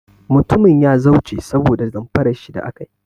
Mutumin ya zauce saboda damfarar shi da aka yi.